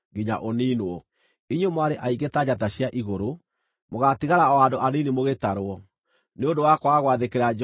Inyuĩ mwarĩ aingĩ ta njata cia igũrũ, mũgaatigara o andũ anini mũgĩtarwo, nĩ ũndũ wa kwaga gwathĩkĩra Jehova Ngai wanyu.